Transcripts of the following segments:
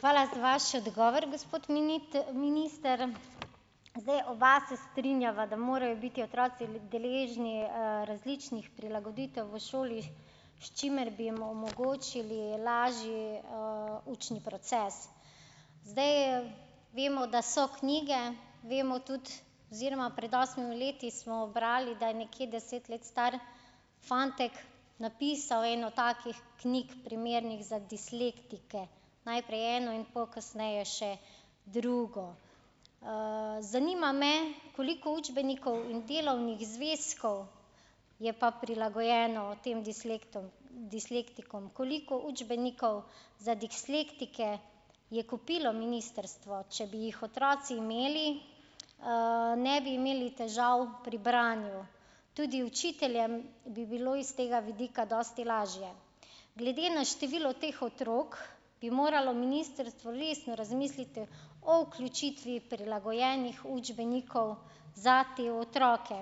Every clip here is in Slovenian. Hvala za vaš odgovor, gospod minister. Zdaj oba se strinjava, da morajo biti otroci deležni, različnih prilagoditev v šoli, s čimer bi jim omogočili lažji, učni proces. Zdaj, vemo, da so knjige, vemo tudi, oziroma pred osmimi leti smo brali, da je nekje deset let star fantek napisal eno takih knjig primernih za dislektike. Najprej eno in pol kasneje še drugo. Zanima me, koliko učbenikov in delovnih zvezkov je pa prilagojeno tem dislektom, dislektikom koliko učbenikov za dislektike je kupilo ministrstvo? Če bi jih otroci imeli, ne bi imeli težav pri branju. Tudi učiteljem bi bilo iz tega vidika dosti lažje. Glede na število teh otrok bi moralo ministrstvo resno razmisliti o vključitvi prilagojenih učbenikov za te otroke.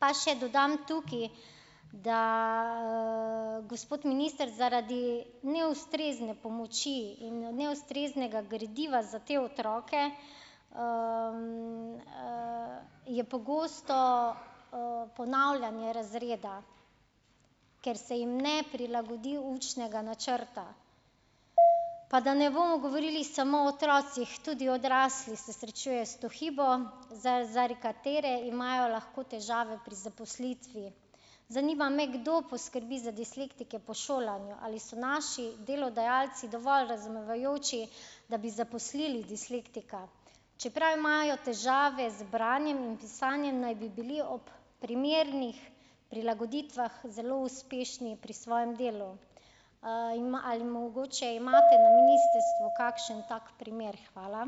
Pa še dodam tukaj, da, gospod minister, zaradi neustrezne pomoči in neustreznega gradiva za te otroke, je pogosto, ponavljanje razreda, ker se jim ne prilagodi učnega načrta. Pa da ne bomo govorili samo o otrocih, tudi odrasli se srečujejo s to hibo, za zaradi katere imajo lahko težave pri zaposlitvi. Zanima me, kdo poskrbi za dislektike po šolanju. Ali so naši delodajalci dovolj razumevajoči, da bi zaposlili dislektika? Čeprav imajo težave z branjem in pisanjem, naj bi bili ob primernih prilagoditvah zelo uspešni pri svojem delu. Ali mogoče imate na ministrstvu kakšen tak primer? Hvala.